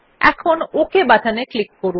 এখন ওক বাটনে ক্লিক করুন